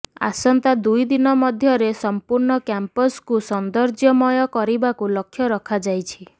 ଆସନ୍ତା ଦୁଇ ଦିନ ମଧ୍ୟରେ ସମ୍ପୂର୍ଣ୍ଣ କ୍ୟାମ୍ପସକୁ ସୌନ୍ଦର୍ଯ୍ୟମୟ କରିବାକୁ ଲକ୍ଷ୍ୟ ରଖାଯାଇଛି